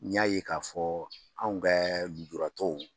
Ɲ'a ye k'a fɔ anw kɛ lujuratɔw